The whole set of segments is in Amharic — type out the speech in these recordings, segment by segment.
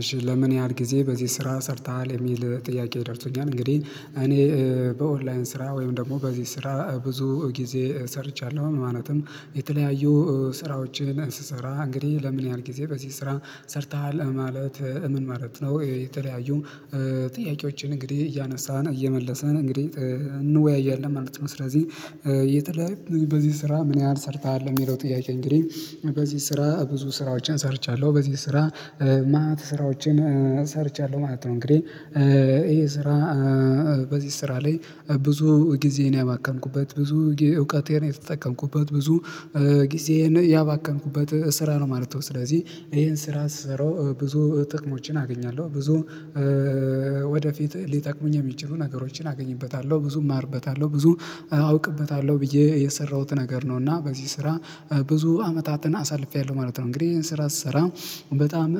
እሺ ለምን ያህል ጊዜ በዚህ ስራ ሰርተሃል የሚል ጥያቄ ደርሶኛል። እንግዲህ እኔ በኦንላይን ስራ ወይም ደግሞ በዚህ ስራ ብዙ ጊዜ ሰርቻለሁ። ማለትም የተለያዩ ስራዎችን ስሰራ እንግዲህ ለምን ያህል ጊዜ በዚህ ስራ ሰርተሃል ማለት ምን ማለት ነው? የተለያዩ ጥያቄዎችን እንግዲህ እያነሳን እየመለስን እንግዲህ እንወያያለን ማለት ነው። ስለዚህ የተለያየ በዚህ ስራ ምን ያህል ሰርተሃል የሚለው ጥያቄ እንግዲህ በዚህ ስራ ብዙ ስራዎችን ሰርቻለሁ። በዚህ ስራ ማት ስራዎችን ሰርቻለሁ ማለት ነው። እንግዲህ ይሄ ስራ በዚህ ስራ ላይ ብዙ ጊዜን ያባከንኩበት ብዙ የእውቀቴን የተጠቀምኩበት ብዙ ጊዜን ያባከንኩበት ስራ ነው ማለት ነው። ስለዚህ ይሄን ስራ ስራው ብዙ ጥቅሞችን አገኛለሁ ብዙ ወደፊት ሊጠቅመኝ የሚጭቡ ነገሮችን አገኝበታለሁ ብዙ ማርበታለሁ ብዙ አውቅበታለሁ ብዬ የሰራሁት ነገር ነው። እና በዚህ ስራ ብዙ አመታትን አሳልፌያለሁ ማለት ነው። እንግዲህ ይሄን ስራ ስሰራ በጣም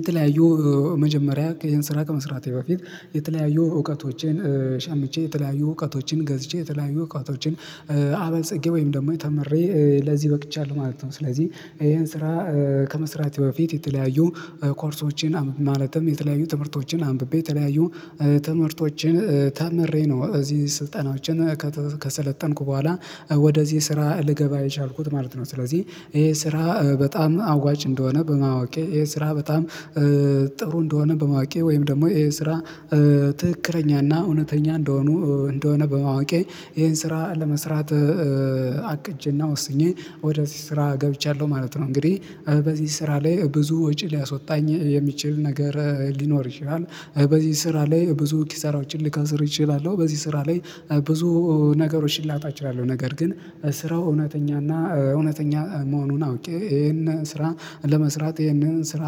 የተለያዩ መጀመሪያ ይሄን ስራ ከመስራቴ በፊት የተለያዩ እውቀቶቼን ሸምቼ የተለያዩ እውቀቶችን ገዝቼ የተለያዩ እውቀቶችን አበልጸጌ ወይም ደግሞ ተምሬ ለዚህ በቅቻለሁ ማለት ነው። ስለዚህ ይሄን ስራ ከመስራት በፊት የተለያዩ ኮርሶችን ማለትም የተለያዩ ትምህርቶችን አንብቤ የተለያዩ ትምህርቶችን ተምሬ ነው እዚህ ስልጠናዎችን ከሰለጠንኩ በኋላ ወደዚህ ስራ ልገባ የቻልኩት ማለት ነው። ስለዚህ ይሄ ስራ በጣም አዋጭ እንደሆነ በማወቄ የስራ በጣም ጥሩ እንደሆነ በማወቄ ወይም ደግሞ ይሄን ስራ ትክክለኛና እውነተኛ እንደሆኑ እንደሆነ በማወቄ ይሄን ስራ ለመስራት አቅጄና ወስኜ ወደዚህ ስራ ገብቻለሁ ማለት ነው። እንግዲህ በዚህ ስራ ላይ ብዙ ወጪ ሊያስወጣኝ የሚችል ነገር ሊኖር ይችላል። በዚህ ስራ ላይ ብዙ ኪሳራዎችን ልከስር እችላለሁ። በዚህ ስራ ላይ ብዙ ነገሮችን ላጣ እችላለሁ። ነገር ግን ስራው እውነተኛና እውነተኛ መሆኑን አውቄ ይሄንን ስራ ለመስራት ይሄንን ስራ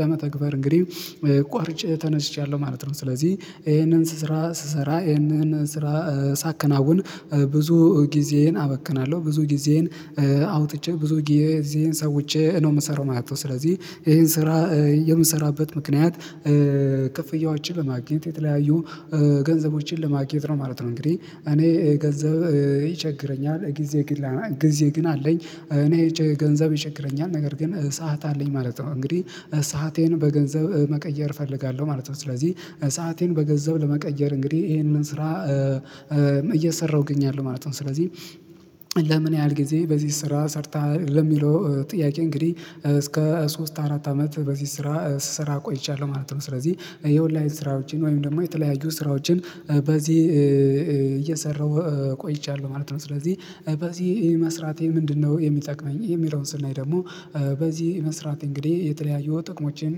ለመተግበር እንግዲህ ቆርጭ ተነስቻለሁ ማለት ነው። ስለዚህ ይሄንን ስስራ ስሰራ ይሄንን ስራ ሳከናውን ብዙ ጊዜዬን አበክናለሁ ብዙ ጊዜዬን አውጥቼ ብዙ ጊዜዬን ሰውቼ ነው የምሰራው ማለት ነው። ስለዚህ ይሄን ስራ የምሰራበት ምክንያት ከፍያዎችን ለማግኘት የተለያዩ ገንዘቦችን ለማግኘት ማለት ነው። እንግዲህ እኔ ገንዘብ ይቸግረኛል። ጊዜ ግን አለኝ እኔ ገንዘብ ይቸግረኛል ነገር ግን እሳት አለኝ ማለት ነው። እንግዲህ ሰአቴን በገንዘብ መቀየር እፈልጋለሁ ማለት ነው። ስለዚህ ሰአቴን በገንዘብ ለመቀየር እንግዲህ ይሄንን ስራ እየሰራሁ እገኛለሁ ማለት ነው። ስለዚህ ለምን ያህል ጊዜ በዚህ ስራ ሰርተሃል? ለሚለው ጥያቄ እንግዲህ እስከ ሶስት አራት አመት በዚህ ስራ ስራ ቆይቻለሁ ማለት ነው። ስለዚህ የኦንላይን ስራዎችን ወይም ደግሞ የተለያዩ ስራዎችን በዚህ እየሰራሁ ቆይቻለሁ ማለት ነው። ስለዚህ በዚህ መስራቴ ምንድነው? የሚጠቅመኝ የሚለውን ስናይ ደግሞ በዚህ መስራት እንግዲህ የተለያየው ጥቅሞችን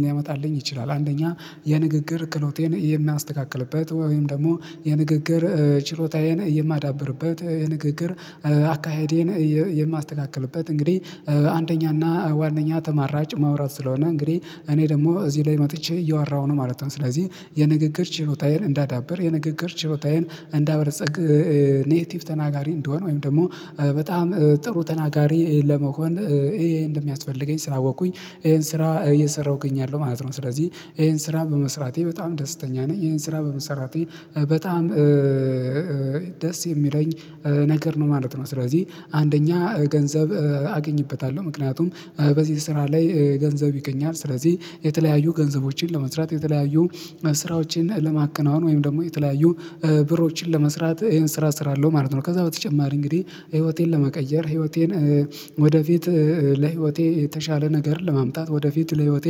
ሊያመጣልኝ ይችላል። አንደኛ የንግግር ክሎቴን የሚያስተካክልበት ወይም ደግሞ የንግግር ችሎታዬን የማዳብርበት የንግግር አካሄዴን የማስተካክልበት እንግዲህ አንደኛና ዋነኛ ተማራጭ ማውራት ስለሆነ እንግዲህ እኔ ደግሞ እዚህ ላይ መጥቼ እየዋራሁ ነው ማለት ነው። ስለዚህ የንግግር ችሮታዬን እንዳዳብር የንግግር ችሮታዬን እንደ አበለፀግ ኔቲቭ ተናጋሪ እንደሆነ ወይም ደግሞ በጣም ጥሩ ተናጋሪ ለመሆን ይሄ እንደሚያስፈልገኝ ስላወቅኩኝ ይሄን ስራ እየሰራሁኝ ያለው ማለት ነው። ስለዚህ ይሄን ስራ በመስራቴ በጣም ደስተኛ ነኝ። ይሄን ስራ በመስራቴ በጣም ደስ የሚለኝ ነገር ነው ማለት ነው። ስለዚህ አንደኛ ገንዘብ አገኝበታለሁ። ምክንያቱም በዚህ ስራ ላይ ገንዘብ ይገኛል። ስለዚህ የተለያዩ ገንዘቦችን ለመስራት የተለያዩ ስራዎችን ለማቀናወን ወይም ደግሞ የተለያዩ ብሮችን ለመስራት ይሄን ስራ ስራ አለው ማለት ነው። ከዛ በተጨማሪ እንግዲህ ህይወቴን ለመቀየር ህይወቴን ወደፊት ለህይወቴ የተሻለ ነገር ለማምጣት ወደፊት ለህይወቴ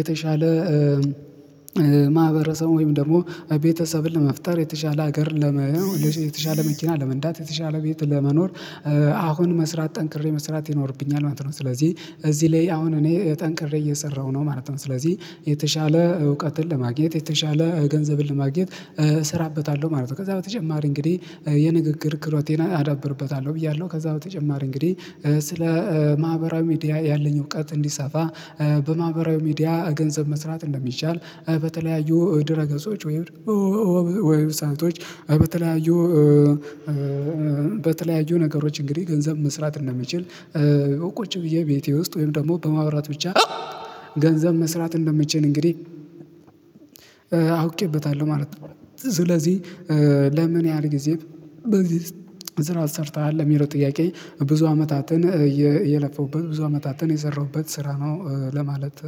የተሻለ ማህበረሰብ ወይም ደግሞ ቤተሰብን ለመፍጠር የተሻለ ሀገር ለመሆን የተሻለ መኪና ለመንዳት የተሻለ ቤት ለመኖር አሁን መስራት ጠንክሬ መስራት ይኖርብኛል ማለት ነው። ስለዚህ እዚህ ላይ አሁን እኔ ጠንቅሬ እየሰራሁ ነው ማለት ነው። ስለዚህ የተሻለ እውቀትን ለማግኘት የተሻለ ገንዘብን ለማግኘት እሰራበታለሁ ማለት ነው። ከዛ በተጨማሪ እንግዲህ የንግግር ክሮቴና አዳብርበታለሁ ብያለሁ። ከዛ በተጨማሪ እንግዲህ ስለ ማህበራዊ ሚዲያ ያለኝ እውቀት እንዲሰፋ በማህበራዊ ሚዲያ ገንዘብ መስራት እንደሚቻል በተለያዩ ድረ ገጾች ወይም ዌብሳይቶች በተለያዩ በተለያዩ ነገሮች እንግዲህ ገንዘብ መስራት እንደምችል ቁጭ ብዬ ቤቴ ውስጥ ወይም ደግሞ በማብራት ብቻ ገንዘብ መስራት እንደመችል እንግዲህ አውቄበታለሁ ማለት ነው። ስለዚህ ለምን ያህል ጊዜ በጊዜ ስራ ሰርተሃል? የሚለው ጥያቄ ብዙ አመታትን የለፈውበት ብዙ አመታትን የሰራሁበት ስራ ነው ለማለት።